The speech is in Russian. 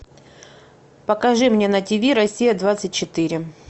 покажи мне на ти ви россия двадцать четыре